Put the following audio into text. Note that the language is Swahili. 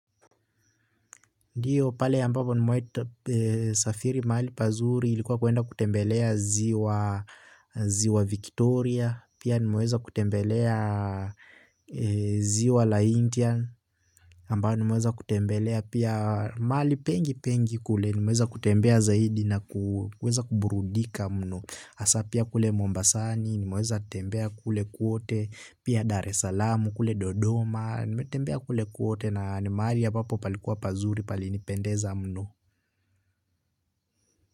Ndiyo pale ambapo nimaweza safiri mali pazuri ilikuwa kuenda kutembelea ziwa Victoria, pia nimaweza kutembelea ziwa la Indian, ambayo nimeweza kutembelea pia mali pengi pengi kule, nimeweza kutembea zaidi na kuburudika mnu. Hasa pia kule mombasani, nimeweza tembea kule kwote, pia daarsalam, kule dodoma, nimetembea kule kwote na ni mahali ambapo palikuwa pazuri palinipendeza mno.